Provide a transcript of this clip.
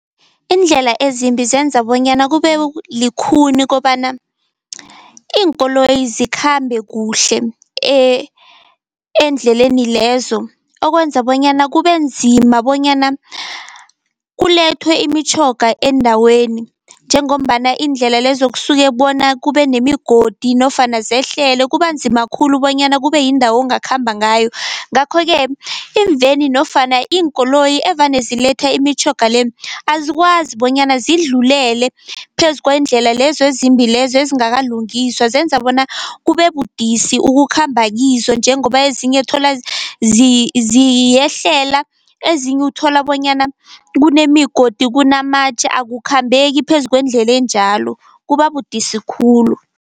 Iindlela ezimbi zenza bonyana kube likhuni kobana iinkoloyi zikhambe kuhle eendleleni lezo, okwenza bonyana kubenzima bonyana kulethwe imitjhoga eendaweni, njengombana iindlela lezo kusuke bona kube nemigodi nofana zehlele kubanzima khulu bonyana kube yindawo ongakhamba ngayo. Ngakho-ke imveni nofana iinkoloyi evane ziletha imitjhoga le, azikwazi bonyana zidlulele phezu kwendlela lezo ezimbi lezo ezingakalungiswa, zenza bona kube budisi ukukhamba kizo njengoba ezinye thola ziyehlela, ezinye uthola bonyana kunemigodi, kunamatje akukhambeki phezu kwendlela enjalo kubabudisi khulu.